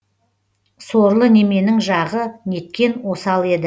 сорлы неменің жағы неткен осал еді